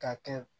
Ka kɛ